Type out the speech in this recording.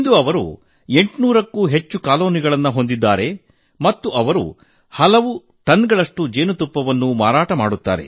ಅವರು ಇಂದು 800 ಕ್ಕೂ ಹೆಚ್ಚು ಜೇನು ಕಾಲೋನಿಗಳನ್ನು ಹೊಂದಿದ್ದಾರೆ ಮತ್ತು ಅವರು ಹಲವು ಟನ್ ಗಳಷ್ಟು ಜೇನುತುಪ್ಪ ಮಾರಾಟ ಮಾಡುತ್ತಾರೆ